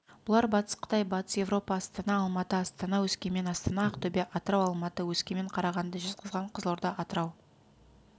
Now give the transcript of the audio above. бұлар батыс қытай батыс еуропа астана алматы астана өскемен астана ақтөбе атырау алматы өскемен қарағанды жезқазған қызылорда атырау